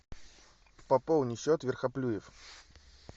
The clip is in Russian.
пополни счет верхоплюев